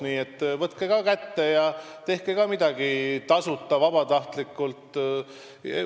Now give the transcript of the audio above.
Nii et võtke ka kätte ja tehke midagi tasuta, vabatahtlikult.